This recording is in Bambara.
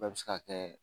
Bɛɛ bɛ se ka kɛ